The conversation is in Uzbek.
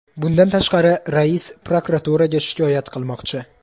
Bundan tashqari, rais prokuraturaga shikoyat qilmoqchi.